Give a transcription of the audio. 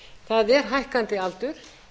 það er hækkandi aldur